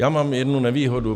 Já mám jednu nevýhodu.